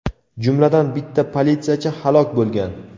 jumladan bitta politsiyachi halok bo‘lgan.